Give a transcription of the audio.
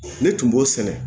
Ne tun b'o sɛnɛ